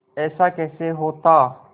ऐसा कैसे होता